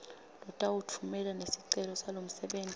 lotawutfumela nesicelo salomsebenti